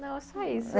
Não, é só isso.